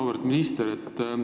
Auväärt minister!